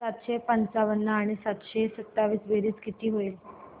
सातशे पंचावन्न आणि सातशे सत्तावीस ची बेरीज किती होईल